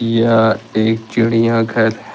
यह एक चिड़िया घर --